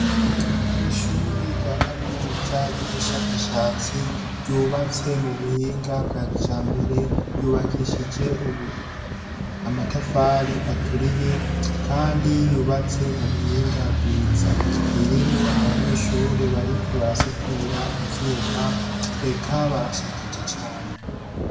Ishuri ry'akaminuza ry'ubushakashatsi ryubatse mu buhinga bwa kijambere ryubakishije amatafari aturiye kandi yubatse mu buhinga bwiza ririmwo abanyeshuri bariko barasudira ivyuma eka barashajije cane.